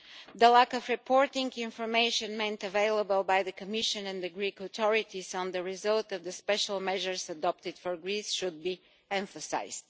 The lack of reporting information made available by the Commission and the Greek authorities on the result of the special measures adopted for Greece should be emphasised.